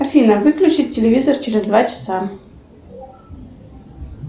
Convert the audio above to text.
афина выключить телевизор через два часа